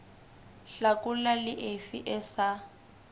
hlakola le efe e sa